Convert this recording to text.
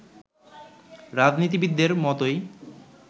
রাজনীতিবিদদের মতোই